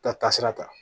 Taa kasira ta